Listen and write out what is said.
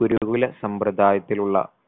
ഗുരുകുല സമ്പ്രതായത്തിലുള്ള